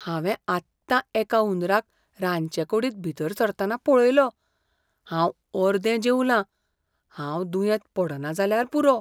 हांवें आत्तां एका हुंदराक रांदचेकुडींत भितर सरतना पळयलो. हांव अर्दे जेवलां, हांव दुयेंत पडना जाल्यार पुरो.